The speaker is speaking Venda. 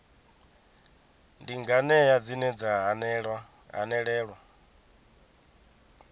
ndi nganea dzine dza hanelelwa